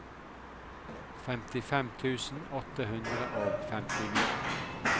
femtifem tusen åtte hundre og femtini